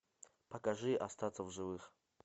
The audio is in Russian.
покажи остаться в живых